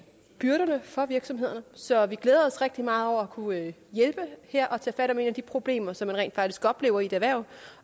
byrderne for virksomhederne så vi glæder os rigtig meget over at kunne hjælpe her og tage fat om et af de problemer som man rent faktisk oplever i et erhverv